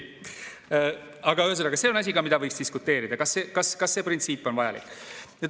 Aga ühesõnaga, see on ka asi, mille üle võiks diskuteerida, kas see printsiip on vajalik.